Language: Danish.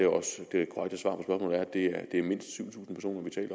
det er mindst syv tusind